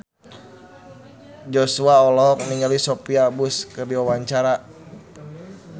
Joshua olohok ningali Sophia Bush keur diwawancara